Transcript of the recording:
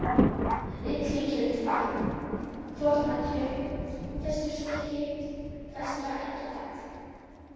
Illukelduvatn, Fornatjörn, Vesturstykki, Vestra-Eggjatagl